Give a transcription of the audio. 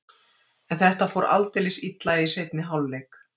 En þetta fór aldeilis illa í seinni hálfleik.